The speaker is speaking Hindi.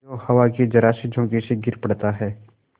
जो हवा के जरासे झोंके से गिर पड़ता है